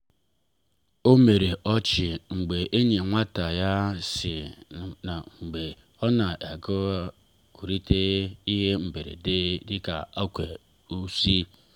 ọ mere ọchị mgbe enyi nwata ya si n’oge gara aga pụta na mberede na ụkwụ uzo.